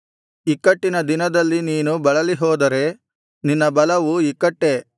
ಇಕ್ಕಟ್ಟಿನ ದಿನದಲ್ಲಿ ನೀನು ಬಳಲಿಹೋದರೆ ನಿನ್ನ ಬಲವೂ ಇಕ್ಕಟ್ಟೇ